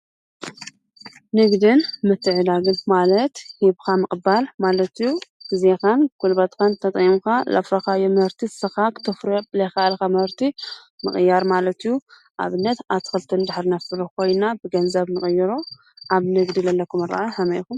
ንግዲን ምትዕድዳግን ማለት ሂብካ ምቅባል ማለት እዩ። ግዜኻን ጉልበትካን ተጠቂምካ ለፍረኻዮም ምህርቲ ንስኻ ክተፍርዮ ብለይኻኣልካ ምህርቲ ምቅያር ማለት እዩ። ኣብነት ኣትክልቲ ነፍሪ እንድሕር ኮይና ብገንዘብ ንቅይሮ ኣብ ንግዲ ለለኩም ኣራእያ ሀመይ ኢኩም?